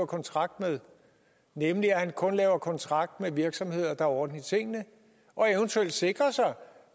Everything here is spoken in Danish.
kontrakt med nemlig at han kun laver kontrakt med virksomheder der har orden i tingene og eventuelt sikrer sig